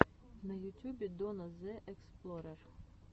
на ютюбе донна зе эксплорер